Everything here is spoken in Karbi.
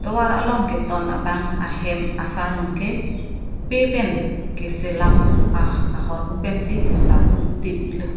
tovar along keton abang ahem asarnung ke pe pen keselam ah ahormu pensi asarnung dip i lo.